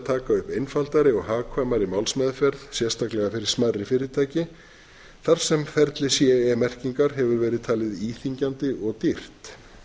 upp einfaldari og hagkvæmari málsmeðferð sérstaklega fyrir smærri fyrirtæki þar sem ferli ce merkingar hefur verið talið íþyngjandi og dýrt